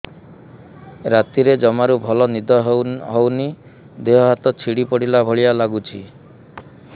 ରାତିରେ ଜମାରୁ ଭଲ ନିଦ ହଉନି ଦେହ ହାତ ଛିଡି ପଡିଲା ଭଳିଆ ଲାଗୁଚି